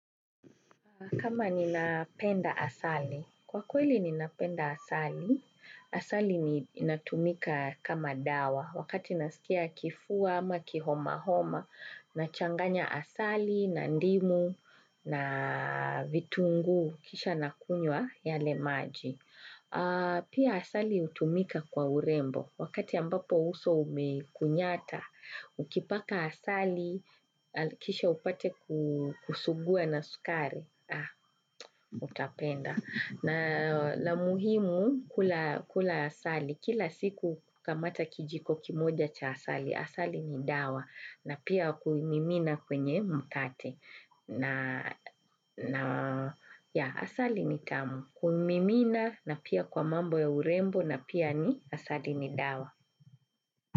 Kama ni napenda asali. Kwa kweli ninapenda asali. Asali inatumika kama dawa. Wakati nasikia kifua ama homa nachanganya asali na ndimu na vitungu kisha nakunywa ile maji pia asali hutumika kwa urembo wakati ambapo uso umekunyata. Ukipaka asali kisha upate kusuguwa na sukari utapenda, na muhimu kula asali kila siku kamata kijiko kimoja cha asali. Asali ni dawa na pia kuimimina kwenye mkate. Asali ni tamu kuimimina na pia kwa mambo ya urembo na pia ni asali ni dawa.